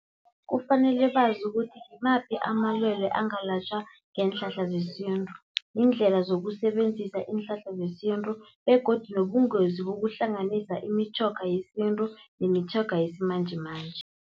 Kufanele bazi ukuthi ngimaphi amalwele angalatjhwa ngeenhlahla zesintu. Iindlela zokusebenzisa iinhlahla zesintu begodu nobungozi bokuhlanganisa imitjhoga yesintu nemitjhoga yesimanjemanje.